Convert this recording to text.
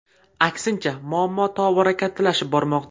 Aksincha, muammo tobora kattalashib bormoqda.